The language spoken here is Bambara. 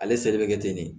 Ale seli bɛ kɛ ten de de